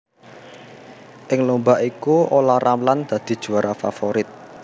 Ing lomba iku Ola Ramlan dadi juwara favorit